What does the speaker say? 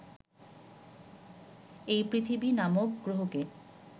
এই পৃথিবী নামক গ্রহকে